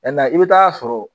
Cɛn na i bi taa sɔrɔ